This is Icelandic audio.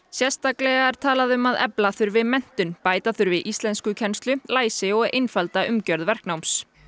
sérstaklega er talað um að efla þurfi menntun bæta þurfi íslenskukennslu læsi og einfalda umgjörð verknáms